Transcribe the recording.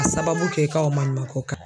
A sababu kɛ i ka o maɲumako kan